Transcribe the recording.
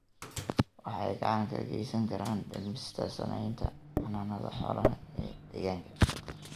waxay gacan ka geysan karaan dhimista saamaynta xannaanada xoolaha ee deegaanka.